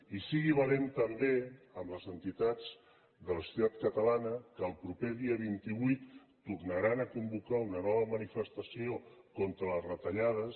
i sigui valent també amb les entitats de la societat catalana que el proper dia vint vuit tornaran a convocar una nova manifestació contra les retallades